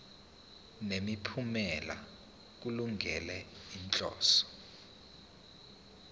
nemiphumela kulungele inhloso